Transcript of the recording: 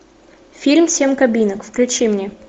фильм семь кабинок включи мне